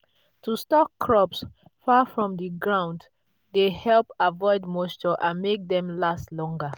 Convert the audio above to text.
to store crops far from the ground dey help avoid moisture and make dem last longer.